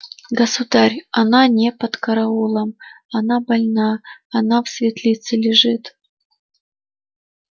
государь она не под караулом она больна она в светлице лежит